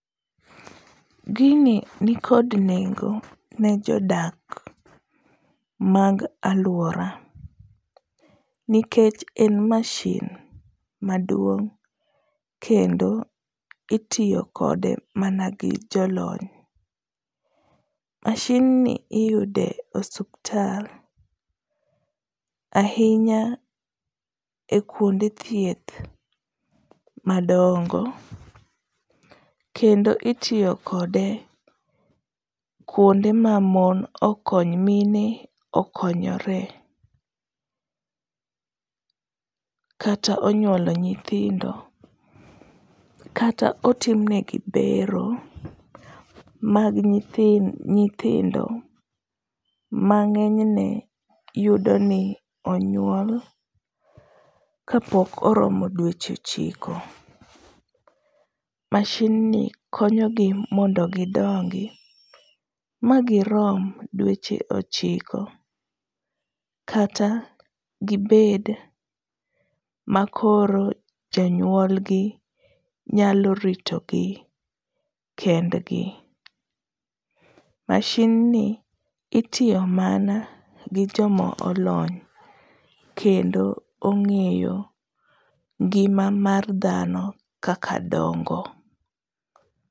Gini nikod nengo ne jodak mag alwora nikech en mashin maduong' kendo itiyo kode mana gi jolony. Mashinni iyude osuptal ahinya e kwonde thieth madongo, kendo itiyo kode kwonde ma mine okonyore, kata onyuolo nyithindo kata otimnegi bero mag nyithindo, mang'enyne yudoni onyuol kapok oromo dweche ochiko, mashinni konyogi mondo gidongi magirom dweche ochiko kata gibed makoro janyuolgi nyalo ritogi kendgi. mashinni itiyo mana gi jomolony kendo ong'eyo ngima mar dhano kaka dongo.